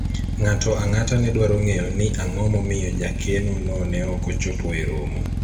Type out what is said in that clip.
ng'ato ang'ata ne dwaro ng'eyo ni ang'o momiyo jakeno no ne ok ochopo e romo